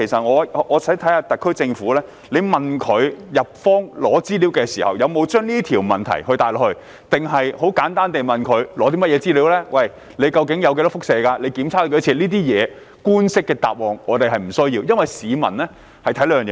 我想看看特區政府在向日方索取資料時，有否提出這個問題，還是純粹向日方索取資料，例如核廢水內究竟含有多少輻射物質，以及日方曾進行多少次檢測等。